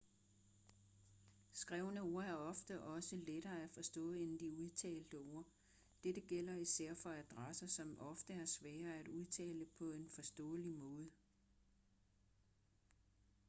skrevne ord er ofte også lettere at forstå end de udtalte ord dette gælder især for adresser som ofte er svære at udtale på en forståelig måde